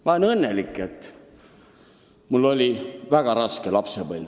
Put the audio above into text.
Ma olen õnnelik, et mul oli väga raske lapsepõlv.